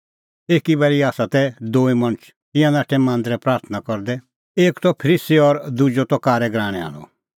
दूई मणछ तै तिंयां नाठै मांदरै प्राथणां करदै एक त फरीसी और दुजअ त कारै गराहणै आल़अ